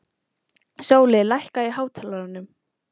Sóli, lækkaðu í hátalaranum.